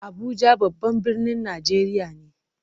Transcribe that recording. Abuja babban birnin Najeriya ne.